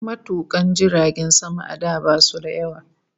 Matukan jiragen sama a da basu da yawa